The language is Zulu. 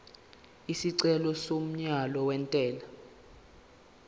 isicelo somyalo wentela